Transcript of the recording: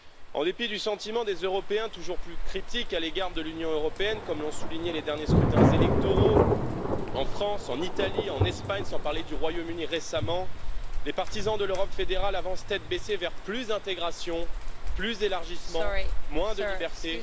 En dépit du sentiment des Européens toujours plus critique à l'égard de l'Union européenne comme l'ont souligné les derniers scrutins électoraux en France, en Italie, en Espagne, sans parler du Royaume Uni récemment les partisans de l'Europe fédérale avancent tête baissée vers plus d'intégration, plus d'élargissement, moins de liberté,